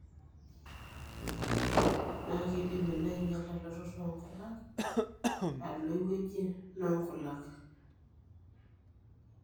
na kindim ina ainyiala eletoto onkulak alo eweuji nonkulak.